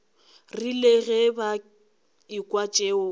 rile ge ba ekwa tšeo